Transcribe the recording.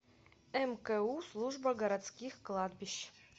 мку служба городских кладбищ